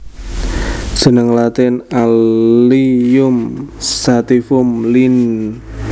Jeneng Latin Allium sativum Linn